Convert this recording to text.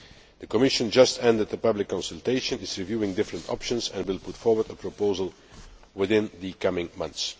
The Commission has just ended the public consultation, is reviewing different options and will put forward a proposal within the coming months.